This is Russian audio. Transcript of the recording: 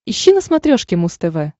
ищи на смотрешке муз тв